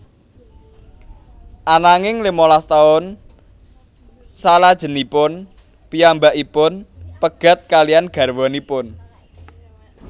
Ananging limalas taun salajengipun piyambakipun pegat kaliyan garwanipun